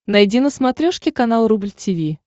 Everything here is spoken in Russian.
найди на смотрешке канал рубль ти ви